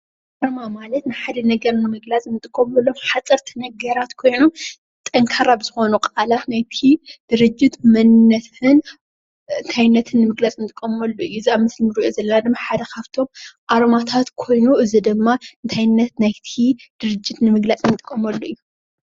ኣርማ ማለት ናይ ሓደ ነገር ንምግላፅ እንጥቀመሎም ሓፀርቲ ነገራት ኮይኖም ጠንካራ ብዝኾኑ ቃላት ናይቲ ድርጅት መንነትን እንታይነትን ንምግላፅ እንጥቀመሉ እዩ።